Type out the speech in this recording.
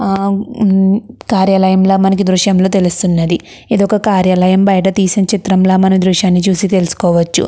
హ హం కార్యాలయముగా లాగా ఈ దృశ్యంలో తెలుస్తునది. ఇదొక కార్యాలయం బయట తీసిన చిత్రంలా తెలుసుకోవచ్చు.